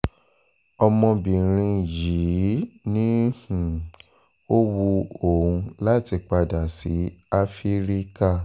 ọmọbìnrin yìí ni um ó wu òun láti padà sí áfíríkà